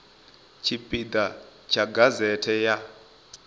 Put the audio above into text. tshipi ḓa tsha gazete ya